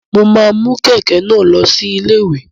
Mo ma mu kẹkẹ náà lọ sí ilé-ìwé.